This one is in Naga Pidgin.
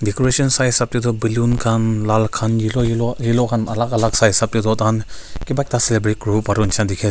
decoration sai hisap te toh balloon khan lal khan yellow yellow khan alak alak sai hisap te toh tai khan kiba ekta celebrate kuri wo pari wo nishi na dikhi ase.